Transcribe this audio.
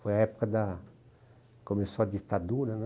Foi a época da... começou a ditadura, né?